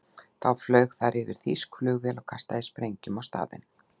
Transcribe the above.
Þá flaug þar yfir þýsk flugvél og kastaði sprengjum á staðinn.